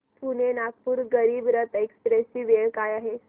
Pune Nagpur Garib Rath express ची वेळ काय आहे